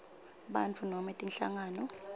bantfu nobe tinhlangano